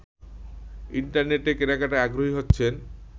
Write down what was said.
ইন্টারনেটে কেনাকাটায় আগ্রহী হচ্ছেন